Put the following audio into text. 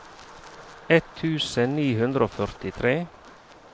ett tusen ni hundre og førtitre